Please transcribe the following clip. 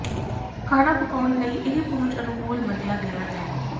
ਖਾਣਾ ਪਕਾਉਣ ਲਈ ਇਹ ਪਹੁੰਚ ਅਨੁਕੂਲ ਮੰਨਿਆ ਗਿਆ ਹੈ